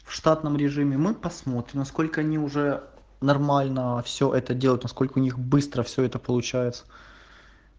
в штатном режиме мы посмотрим насколько они уже нормально все это делают насколько у них быстро все это получается